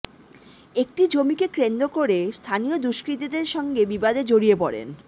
একটি জমিকে কেন্দ্র করে স্থানীয় দুষ্কৃতীদের সঙ্গে বিবাদে জড়িয়ে পড়েন